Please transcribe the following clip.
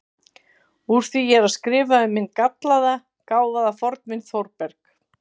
Úr því ég er að skrifa um minn gallaða, gáfaða fornvin Þórberg